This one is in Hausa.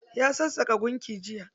Ya sassaƙa gunki jiya.